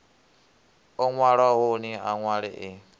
o nwalwahoni a nwale e